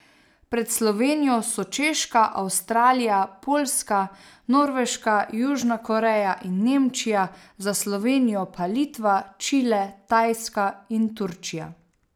Pred Slovenijo so Češka, Avstralija, Poljska, Norveška, Južna Koreja in Nemčija, za Slovenijo pa Litva, Čile, Tajska in Turčija.